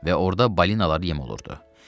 Və orda balinaları yem olurdu.